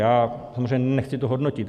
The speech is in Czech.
Já samozřejmě nechci to hodnotit.